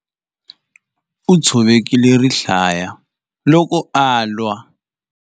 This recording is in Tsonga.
U tshovekile rihlaya loko a lwa.